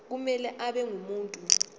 kumele abe ngumuntu